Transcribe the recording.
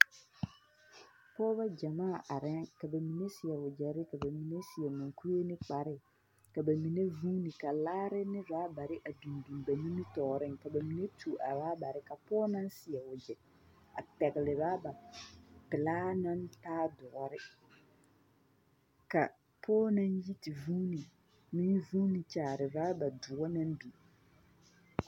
Pɔɔbɔ gyamaa arɛɛ ka ba mine seɛ wogyɛre ka ba mine seɛ muŋkue ne kpare, ka ba mine vuuni ka laare ne rabare a biŋ biŋ ba nimitɔɔreŋ ka ba mine tuo a rabare ka pɔge naŋ seɛ wogyɛ a pɛgele pelaa naŋ taa doɔre, ka pɔge naŋ yi te vuuni meŋ vuuni kyaare raba doɔ naŋ biŋ.